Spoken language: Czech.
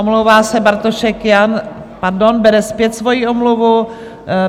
Omlouvá se Bartošek Jan... pardon, bere zpět svoji omluvu;